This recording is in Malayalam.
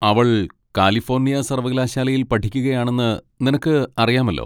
അവൾ കാലിഫോർണിയ സർവ്വകലാശാലയിൽ പഠിക്കുകയാണെന്ന് നിനക്ക് അറിയാമല്ലോ.